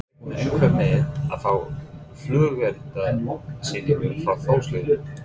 Reiknaði einhver með að fá flugeldasýningu frá Þórs liðinu?